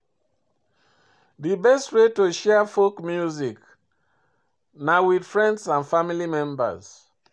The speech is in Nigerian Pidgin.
Di best way to share folk song na with friends and family members